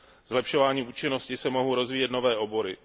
Zlepšováním účinnosti se mohou rozvíjet nové obory.